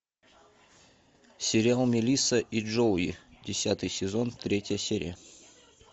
сериал мелисса и джоуи десятый сезон третья серия